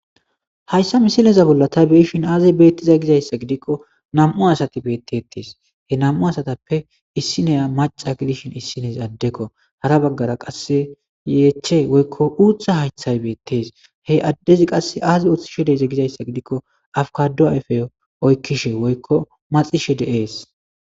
Haysa misileza bola ta be'ishin aze betizaysi gizaysa gidiko nam'u asati betetes he nam'u asatape issinay maca gidishin issinezi adeko hara bagara qase yeche woyko utha hayrhay betes he adezi Azi oothishe dize gizaysa gidiko abukado ayde oykishe woyko maxishe de'es